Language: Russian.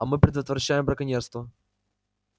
а мы предотвращаем браконьерство